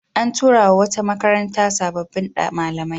A tura wa wata makaranta sabbin malamai.